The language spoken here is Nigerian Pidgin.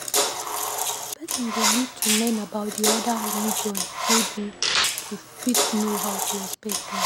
Person go need to learn about di other religions wey dey to fit know how to respect them